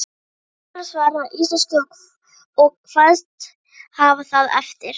Ráðherrann svaraði á íslensku og kvaðst hafa það eftir